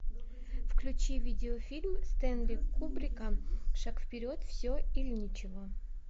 включи видеофильм стэнли кубрика шаг вперед все или ничего